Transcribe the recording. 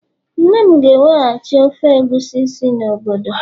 nne m ga-eweghachi ofe egusi si n'obodo